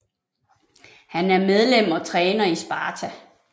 Han er medlem og træner i Sparta